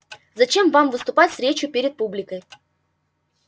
зачем вам выступать с речью перед публикой